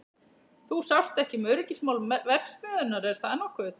Þú sást ekki um öryggismál verksmiðjunnar, er það nokkuð?